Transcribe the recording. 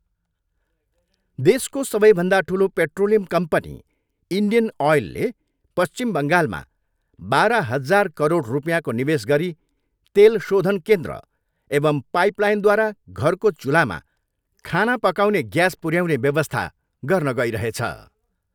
देशको सबैभन्दा ठुलो पेट्रोलियम कम्पनी इन्डियन ओयलले पश्चिम बङ्गालमा बाह्र हजार करोड रुपियाँको निवेश गरी तेल शोधन केन्द्र एवं पाइप लाइनद्वारा घरको चूल्हामा खाने पकाउने ग्यास पुर्याउने व्यवस्था गर्न गइरहेछ।